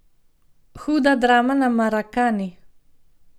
Huda drama na Marakani!